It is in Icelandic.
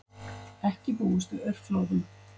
Ekki búist við aurflóðum